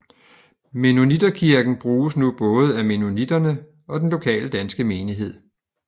Mennonitterkirken bruges nu både af mennoniterne og den lokale danske menighed